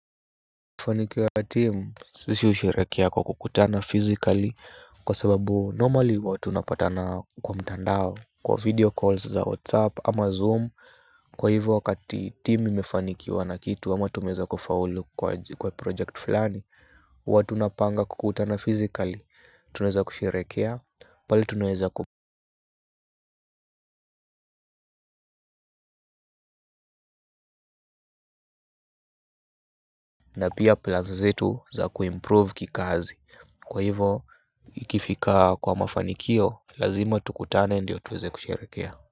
Normally huwa tunapatana kwa mtandao kwa video call za whatsapp ama zoom kwa hivyo wakati team imefanikiwa na kitu ama tumeweza kufaulu kwa project fulani huwa tunapanga kukutana physically tunaeza kusherehekea pahali tuneza. Na pia plans zetu za kuimprove kikazi kwa hivo ikifika kwa mafanikio lazima tukutane ndio tuweze kusherehekea.